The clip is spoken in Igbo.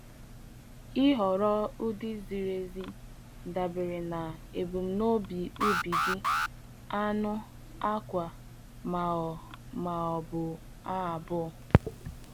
Ịhọrọ ụdị ziri ezi dabere na ebumnobi ubi gị, anụ, akwa, ma ọ ma ọ bụ ha abụọ